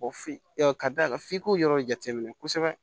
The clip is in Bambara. ka d'a kan f'i k'o yɔrɔ jate minɛ kosɛbɛ